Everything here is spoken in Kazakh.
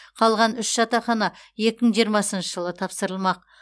қалған үш жатақхана екі мың жиырмасыншы жылы тапсырылмақ